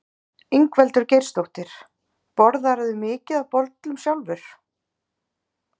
Ingveldur Geirsdóttir: Borðarðu mikið af bollum sjálfur?